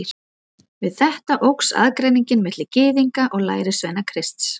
Við þetta óx aðgreiningin milli Gyðinga og lærisveina Krists.